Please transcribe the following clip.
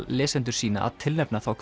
lesendur sína að tilnefna þá